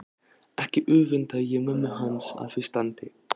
Ekki öfunda ég mömmu hans af því standi